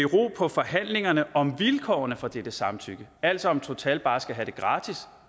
forhandlingerne om vilkårene for dette samtykke altså om total bare skal have det gratis